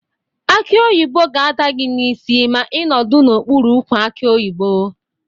Akị oyibo ga-ada gị n'isi ma ị nọdụ n'okpụrụ ukwu akị oyibo.